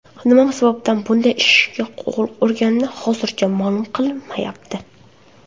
Nima sababdan bunday ishga qo‘l urgani hozircha ma’lum qilinmayapti.